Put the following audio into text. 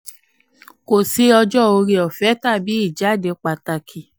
29. kò sí ọjọ́ oore-ọ̀fẹ́ tàbí ìjàde pàtàkì.